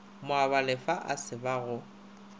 moabalefa a se ba go